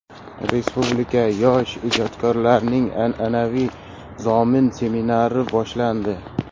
Respublika yosh ijodkorlarning an’anaviy Zomin seminari boshlandi.